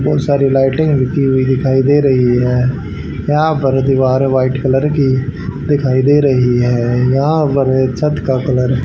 बहुत सारी लाइटिंग हुई दिखाई दे रही है यहां पर दीवार व्हाइट कलर की दिखाई दे रही है यहां पर छत का कलर --